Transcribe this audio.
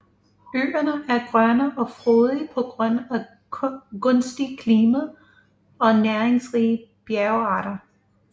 Øerne er grønne og frodige på grund af gunstigt klima og næringsrige bjergarter